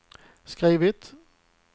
skrivit